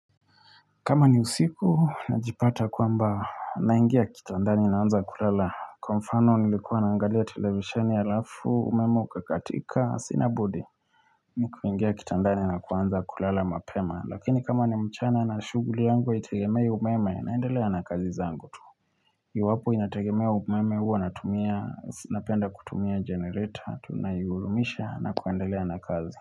Kama ni usiku, najipata kwamba naingia kitandani naanza kulala. Kwa mfano, nilikuwa naangalia television alafu, umeme uka katika, sinabudi. Niku ingia kitandani na kuanza kulala mapema. Lakini kama ni mchana na shughuli yangu, haitegemei umeme naendelea na kazi zangu tu. Iwapo inategemea umeme huwa natumia, napenda kutumia generator, tunaigurumisha na kuendelea na kazi.